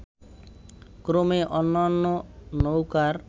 ক্রমে অন্যান্য নৌকার